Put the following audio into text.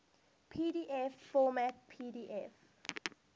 pdf format pdf